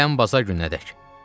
Gələn baza gününədək.